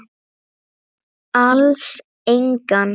Alls engan.